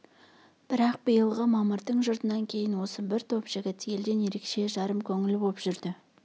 бірақ биылғы мамырдың жұтынан кейін осы бір топ жігіт елден ерекше жарым көңіл боп жүрді